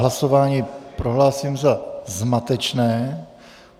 Hlasování prohlásím za zmatečné.